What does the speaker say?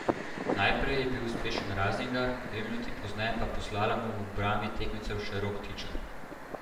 Najprej je bil uspešen Razingar, dve minuti pozneje pa po slalomu v obrambi tekmecev še Rok Tičar.